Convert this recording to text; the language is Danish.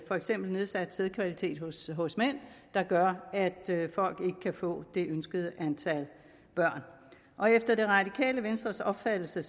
for eksempel nedsat sædkvalitet hos hos mænd der gør at folk ikke kan få det ønskede antal børn efter det radikale venstres opfattelse